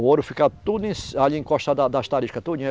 O ouro fica tudo em si, ali encostado da das tarisca, tudinho.